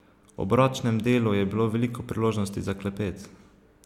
Ob ročnem delu je bilo veliko priložnosti za klepet.